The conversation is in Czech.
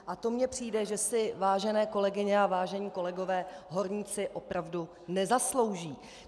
A to mně přijde, že si, vážené kolegyně a vážení kolegové, horníci opravdu nezaslouží.